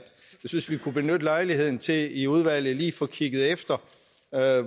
vi kunne benytte lejligheden til i udvalget lige at få kigget efter